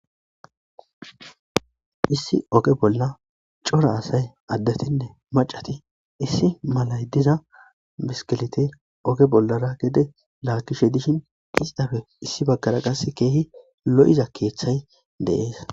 Issi oge bolla cora asay addetinne maccati issi mala biskilite oge bollara gede laagishe dishin izape qasse issi baggara lo7iza keeththay de7ees.